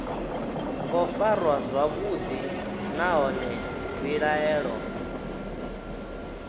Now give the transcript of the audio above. ngo farwa zwavhuḓi nahone mbilaelo